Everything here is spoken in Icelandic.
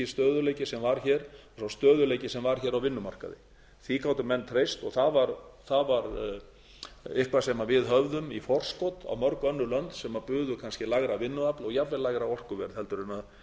það var sá pólitíski stöðugleiki sem var hér á vinnumarkaði því gátu menn treyst og það var eitthvað sem við höfðum í forskot á mörg önnur lönd sem buðu kannski lægra vinnuafl og jafnvel lægra orkuverð heldur en